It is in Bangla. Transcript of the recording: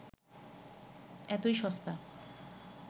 এতই সস্তা